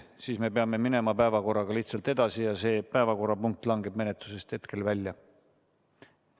Kui ei ole, siis me peame minema päevakorraga lihtsalt edasi ja see päevakorrapunkt langeb menetlusest hetkel välja.